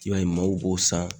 I b'a ye mɔgɔw b'o san